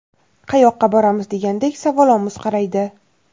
qayoqqa boramiz degandek savolomuz qaraydi.